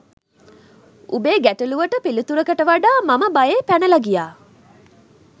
උඹේ ගැටළුවට පිළිතුරකට වඩා මම බයේ පැනල ගියා